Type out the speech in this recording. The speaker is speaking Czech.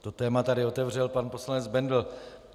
To téma tady otevřel pan poslanec Bendl.